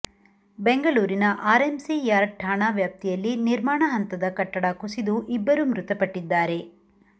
ಬೆಂಗಳೂರಿನ R MC Yard ಠಾಣಾ ವ್ಯಾಪ್ತಿಯಲ್ಲಿ ನಿರ್ಮಾಣ ಹಂತದ ಕಟ್ಟಡ ಕುಸಿದು ಇಬ್ಬರು ಮೃತಪಟ್ಟಿದ್ದಾರೆ